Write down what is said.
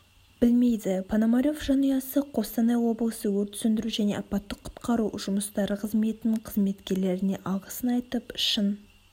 білмейді пономарев жанұясы қостанай облысы өрт сөндіру және апаттық-құтқару жұмыстары қызметінің қызметкерлеріне алғысын айтып шын